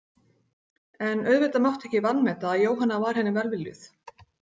En auðvitað mátti ekki vanmeta að Jóhanna var henni velviljuð.